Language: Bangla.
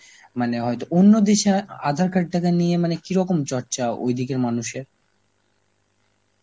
মানে হয়তো অন্য দেশে আধার card টাকে নিয়ে মানে কি রকম চর্চা ওই দিকের মানুষের?